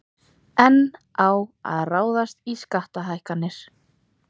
Enn á að ráðast í skattahækkanir